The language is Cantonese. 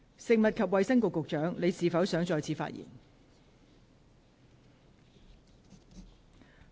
食物及衞生局局長，你是否想再次發言？